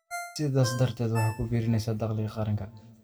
sidaas darteedna wax ku biirinaysa dakhliga qaranka.